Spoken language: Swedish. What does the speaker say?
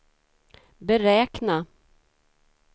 beräkna